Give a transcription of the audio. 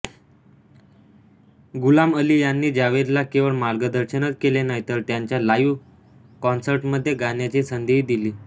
गुलाम अली यांनी जावेदला केवळ मार्गदर्शनच केले नाही तर त्यांच्या लाइव्ह कॉन्सर्टमध्ये गाण्याची संधीही दिली